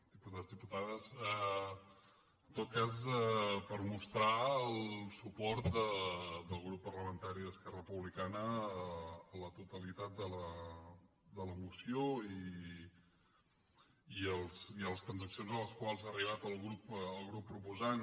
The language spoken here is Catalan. diputats diputades en tot cas per mostrar el suport del grup parlamentari d’esquerra republicana a la totalitat de la moció i a les transaccions a les quals ha arribat el grup proposant